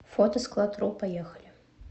фотоскладру поехали